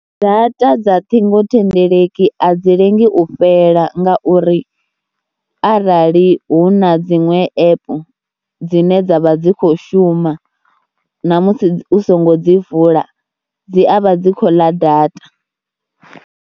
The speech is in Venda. Data dza ṱhingothendeleki a dzi lengi u fhela ngauri arali hu na dziṅwe app dzine dza vha dzi khou shuma namusi u songo dzi vula dzi a vha dzi kho ḽa data.